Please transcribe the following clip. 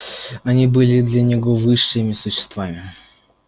они были для него высшими существами